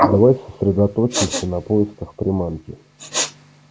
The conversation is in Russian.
давай сосредоточимся на поисках приманки